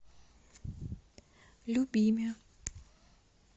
любиме